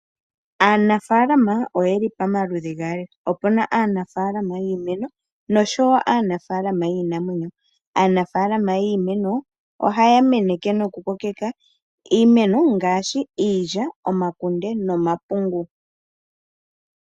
Aanafaalama oyeli pamaludhi gaali opena aanafaalama yiimeno noshowo aanafaalama yiinamwenyo, aanafaalama yiimeno ohaya meneke noku kokeka iimeno ngaashi iilya, omakunde nomapungu.